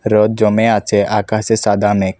রোদ জমে আছে আকাশে সাদা মেখ।